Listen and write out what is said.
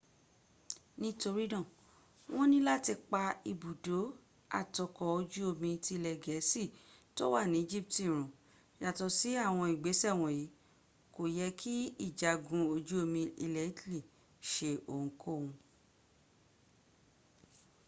torí náà wọ́n ni láti pa ibùdó àt ọkọ̀ ojú omi tí ilẹ̀ gẹ̀ẹ́sì tó wà ní́ egypt run . yàtọ̀ sí àwọn ìgbésẹ̀ wọ̀nyí kò yẹ́ kí ìjagun ojú omi ilẹ̀ italy seohunkóhun